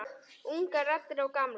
Ungar raddir og gamlar.